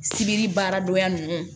Sibiri baara dɔgɔya ninnu